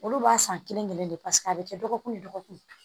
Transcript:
Olu b'a san kelen-kelen de paseke a bɛ kɛ dɔgɔkun ni dɔgɔkun